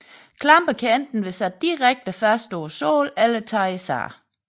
Klamper kan enten være sat direkte fast på sålen eller tages af